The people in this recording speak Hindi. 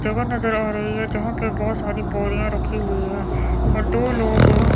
जगह नजर आ रही हैं जहां पे बहोत सारी बोरियां रखी हुई है और दो लोग--